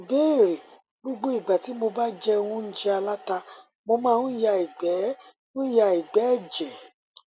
ìbéèrè gbogbo ìgbà ti mo ba jẹ óúnjẹ aláta mo máa ń ya igbe ń ya igbe eje